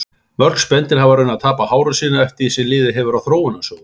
Mörg spendýr hafa raunar tapað hárum sínum eftir því sem liðið hefur á þróunarsöguna.